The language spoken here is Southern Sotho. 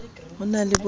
ho na le bo senyang